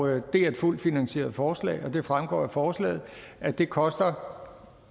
her det er et fuldt finansieret forslag og det fremgår af forslaget at det koster